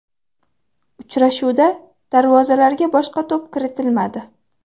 Uchrashuvda darvozalarga boshqa to‘p kiritilmadi.